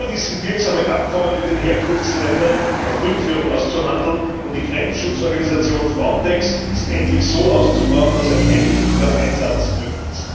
Überdies sind wirksame Abkommen mit Herkunftsländern über Rückführungen auszuhandeln, und die Grenzschutzorganisation FRONTEX ist endlich so auszubauen, dass ein effektiver Einsatz möglich ist.